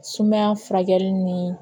Sumaya furakɛli ni